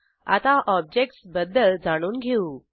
आता ऑब्जेक्टस बद्दल जाणून घेऊ